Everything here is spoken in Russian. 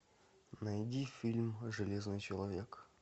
найди фильм железный человек